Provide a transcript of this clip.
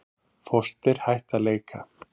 Foster hætt að leika